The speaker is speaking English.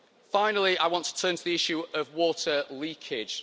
Finally, I want to turn to the issue of water leakage.